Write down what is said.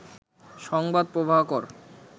সংবাদ প্রভাকর